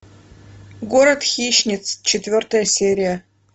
город хищниц четвертая серия